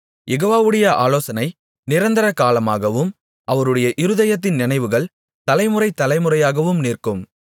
யெகோவாவுடைய ஆலோசனை நிரந்தரகாலமாகவும் அவருடைய இருதயத்தின் நினைவுகள் தலைமுறை தலைமுறையாகவும் நிற்கும்